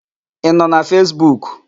Ị nọ na Fesbuk?